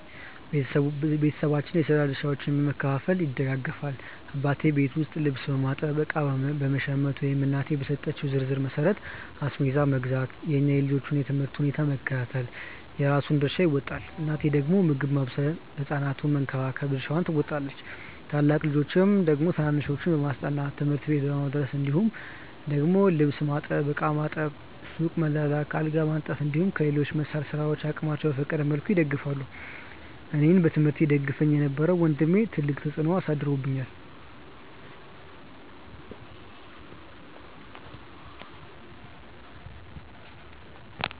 ቤተሰባችን የስራ ድርሻዎችን በመከፋፈል ይደጋገፋል። አባቴ ቤት ውስጥ ልብስ በማጠብ፣ እቃ በመሸመት ወይም እናቴ በሰጠችው ዝርዝር መሠረት አስቤዛ መግዛት፣ የእኛን የልጆቹን የ ትምህርት ሁኔታ በመከታተል የራሱን ድርሻ ይወጣል። እናቴ ደግሞ ምግብ ማብሰል ህ ሕፃናቱን በመንከባከብ ድርሻዋን ትወጣለች። ታላቅ ልጆች ደግሞ ታናናሾችን በማስጠናት፣ ትምህርት ቤት በማድረስ እንዲሁም ደግሞ ልብስ ማጠብ፣ ዕቃ ማጠብ፣ ሱቅ መላላክ፣ አልጋ በማንጠፍ እንዲሁም በሌሎች መሰል ስራዎች አቅማቸው በፈቀደ መልኩ ይደግፋሉ። አኔን በትምህርቴ ይደግፈኝ የነበረው ወንድሜ ትልቅ ተፅዕኖ አሳድሮብኛል።